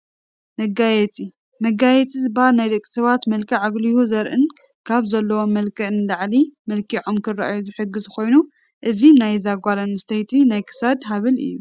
መጋየፂ፡- መጋየፂ ዝባሃል ናይ ደቂ ሰባት መልክዕ ኣጉሊሁ ዘርእን ካብ ዘለዎም መልክዕ ንላዕሊ መልኪዖም ክራኣዩ ዝሕግዝ ኮይኑ እዚ ናይዛ ናይ ጓል ኣነስተይቲ ናይ ክሳድ ሃብል እዩ፡፡